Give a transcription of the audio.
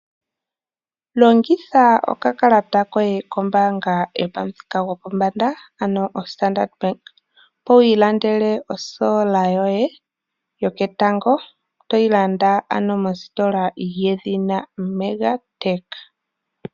Longitha okakalata koye kombaanga yopamuthika gopombanda ano o Standard Bank opo wu ilandele o sola yoye yoketango toyi landa ano mositola yedhina Mega tech.